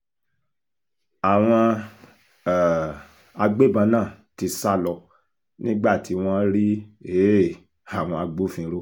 ó um pàṣẹ kí ọkùnrin oníṣòwò ọkùnrin oníṣòwò náà ṣì um wà láhàámọ̀ àwọn ọlọ́pàá títí dọjọ́ kẹtàdínlógún oṣù kẹta ọdún twenty twenty one